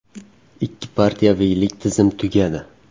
Ikki partiyaviylik tizim tugadi.